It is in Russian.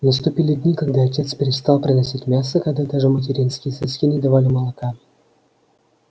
наступили дни когда отец перестал приносить мясо когда даже материнские соски не давали молока